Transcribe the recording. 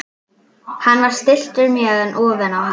Hann var stilltur mjög en úfinn á hár.